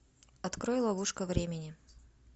открой ловушка времени